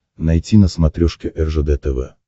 найти на смотрешке ржд тв